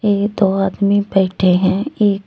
ये दो आदमी बैठे हैं एक--